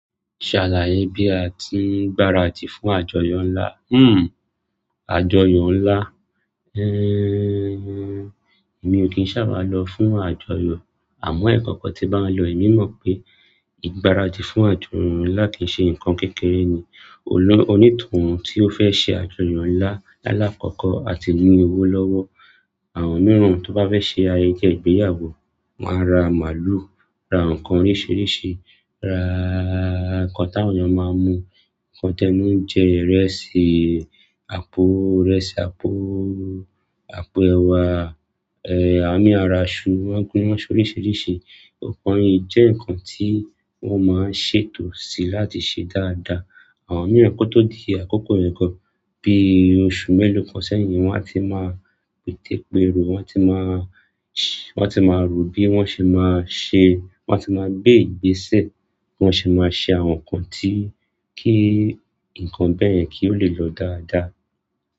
Ṣàlàyé bí a ti ń gbaradì fún àjọyọ̀ ńlá. Hmm àjọyọ̀ ńlá. Ehn, èmi ò kí ń ṣàbàá lọ fún àjọyọ̀ àmọ́ ẹ̀kan kan tí n bá n lọ èmi mọ̀ pé ìgbáradì fún àjọyọ̀ ńlá kìí ṣe nǹkan kékeré ni. Olú onítùúún tí ó fẹ́ ṣe àjọyọ̀ ńlá lála kọ́kọ́ á ti ní owó lọ́wọ́. Àwọn mìíràn tó bá fẹ́ ṣe ayẹyẹ ìgbéyàwó máa ra màlúù, ra nǹkan oríṣìíríṣìí, ra nǹkan táwọn èèyàn máa mú, nǹkan tẹ́nu jẹ, ìrẹsì, àpò ìrẹsì, àpò, àpò ẹ̀wà, ẹ́ àwọn mí á ra iṣu, wọ́n gún yàn sóríṣìíríṣìí. Òòpọ̀ yin jẹ́ nǹkan tí wọ́n máa ń ṣètò sí láti ṣe dáadáa. Àwọn mìíràn kótó di akókò yen gan bí oṣù mélòó kan sẹ́yìn, wọn a ti máa pètepéero, wọn a ti máa ṣé wọn a ti máa rò bí wọ́n ṣe máa ṣe, wọn a ti máa gbé ìgbésẹ̀ bí wọ́n ṣe máa ṣe àwọn nǹkan tí kí nǹkan bẹ́ẹ̀ yẹn kí ó lè lọ dáadáa.